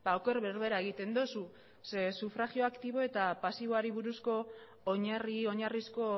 oker berbera egiten duzu ze sufragio aktibo eta pasiboari buruzko oinarri oinarrizko